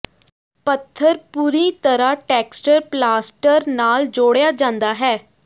ਪੱਥਰ ਪੂਰੀ ਤਰ੍ਹਾਂ ਟੈਕਸਟਚਰ ਪਲਾਸਟਰ ਨਾਲ ਜੋੜਿਆ ਜਾਂਦਾ ਹੈ